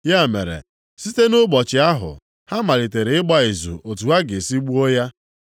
Ya mere, site nʼụbọchị ahụ, ha malitere ịgba izu otu ha ga-esi gbuo ya.